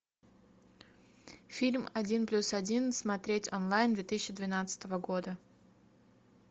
фильм один плюс один смотреть онлайн две тысячи двенадцатого года